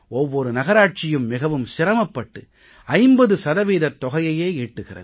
ஒவ்வொரு நகராட்சியும் மிகவும் சிரமப்பட்டு 50 சதவீதத் தொகையையே ஈட்டுகிறது